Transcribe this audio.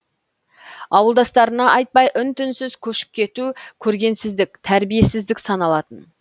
ауылдастарына айтпай үн түнсіз көшіп кету көргенсіздік тәрбиесіздік саналатын